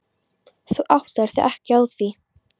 Þú áttaðir þig ekki á því.